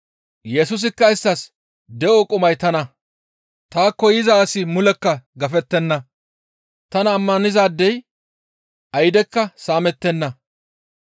Yesusikka isttas, «De7o qumay tana; taakko yiza asi mulekka gafettenna; tana ammanizaadey aydekka saamettenna.